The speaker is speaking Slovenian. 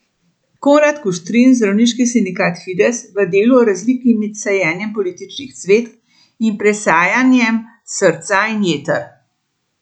Konrad Kuštrin, zdravniški sindikat Fides, v Delu o razliki med sajenjem političnih cvetk in presajanjem srca in jeter.